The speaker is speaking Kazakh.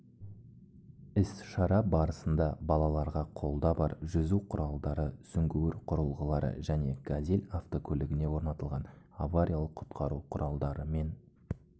іс-шара барысында балаларға қолда бар жүзу құралдары сүңгуір құрылғылары және газель автокөлігіне орнатылған авариялық-құтқару құралдары мен